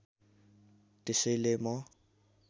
त्यसैले म